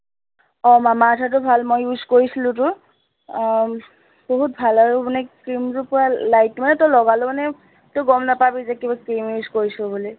আহ মামা আৰ্থৰটো ভাল, মই use কৰিছিলোটো, আহ উম বহুত ভাল আৰু মানে cream টো পোৰা light সেইটো মানে তই লগালেও মানে, তই গম নাপাবি যে কিবা cream use কৰিছো বুলি